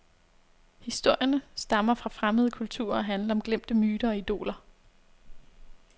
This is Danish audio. Historierne stammer fra fremmede kulturer og handler om glemte myter og idoler.